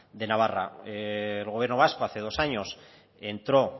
de navarra el gobierno vasco hace dos años entró